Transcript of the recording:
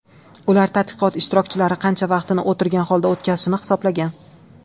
Ular tadqiqot ishtirokchilari qancha vaqtini o‘tirgan holda o‘tkazishini hisoblagan.